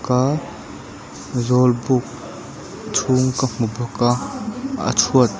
aaa zawlbuk chhung ka hmu bawk a a chhuat.